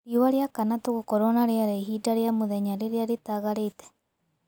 rĩũa riakana tugukorwo na rĩera ĩhĩnda rĩa mũthenya rĩrĩa ritagarite